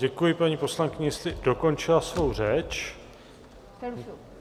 Děkuji paní poslankyni, jestli dokončila svou řeč.